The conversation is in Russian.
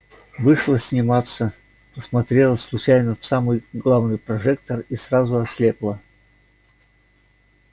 вышла сниматься посмотрела случайно в самый главный прожектор и сразу ослепла